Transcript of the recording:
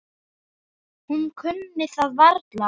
Hún kunni það varla.